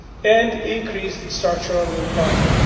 and increased structural employment.